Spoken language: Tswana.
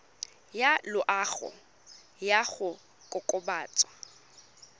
ya loago ya go kokobatsa